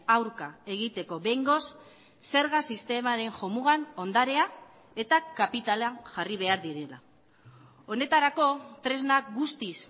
aurka egiteko behingoz zerga sistemaren jomugan ondarea eta kapitala jarri behar direla honetarako tresnak guztiz